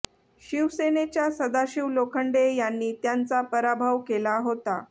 शिवसेनेच्या सदाशिव लोखंडे यांनी त्यांचा पराभव केला होता